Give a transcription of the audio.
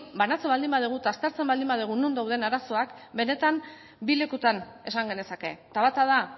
banatzen baldin badugu eta aztertzen baldin badugu non dauden arazoak benetan bi lekuetan esan genezake eta bata da